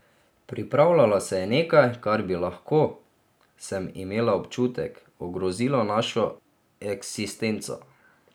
Pripravljalo se je nekaj, kar bi lahko, sem imela občutek, ogrozilo našo eksistenco.